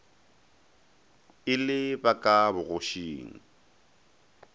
e le ba ka bogošing